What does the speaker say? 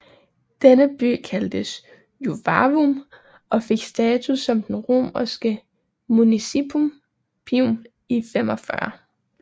Denne by kaldtes Juvavum og fik status som romersk municipium i 45